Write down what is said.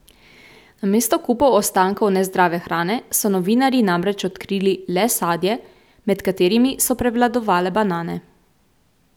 Namesto kupov ostankov nezdrave hrane so novinarji namreč odkrili le sadje, med katerimi so prevladovale banane.